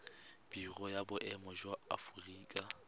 biro ya boemo ya aforika